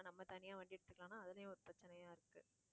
நம்ம தனியா வண்டி எடுத்துக்கலாம்னா, அதுலயும் ஒரு பிரச்சனையா இருக்கு